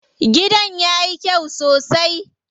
Gidan yayi kyau sosai.